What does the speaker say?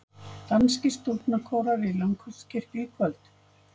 Danskir stúlknakórar í Langholtskirkju í kvöld